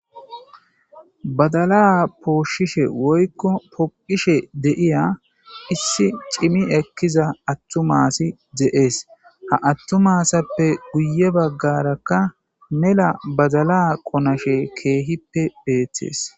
badalaa pooshishe woykko poqishe d'iya issi cimi ekkiza attumasi dze7ees ha attumasappe guye baggarakka mela badalaa qonashe keehippe beettees